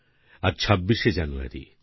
আজ 26শে জানুয়ারি